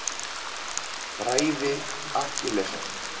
Bræði Akkilesar.